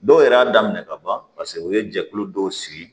Dɔw yɛrɛ y'a daminɛ ka ban paseke u ye jɛkulu dɔw sigi